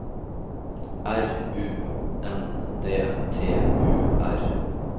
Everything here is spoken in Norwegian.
R U N D T U R